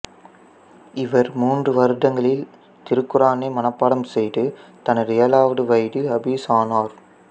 இவர் மூன்று வருடங்களில் திருக்குர்ஆனை மனப்பாடம் செய்து தனது ஏழாவது வயதில் ஹபீஸ் ஆனர்